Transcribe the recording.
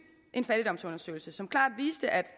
en fattigdomsundersøgelse som klart viste at